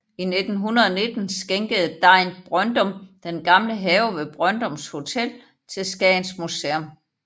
I 1919 skænkede Degn Brøndum den gamle have ved Brøndums Hotel til Skagens Museum